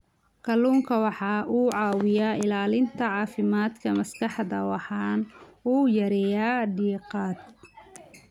Kalluunku waxa uu caawiyaa ilaalinta caafimaadka maskaxda waxana uu yareeyaa diiqada.